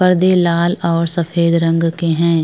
पर्दे लाल और सफेद रंग के हैं।